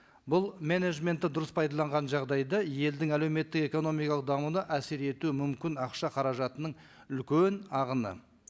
бұл менеджментті дұрыс пайдаланған жағдайда елдің әлеуметтік экономикалық дамуына әсер ету мүмкін ақша қаражатының үлкен ағыны